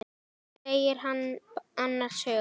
segir hann annars hugar.